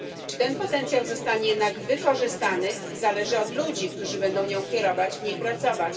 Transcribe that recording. Czy ten potencjał zostanie jednak wykorzystany, zależy od ludzi, którzy będą nią kierować, w niej pracować.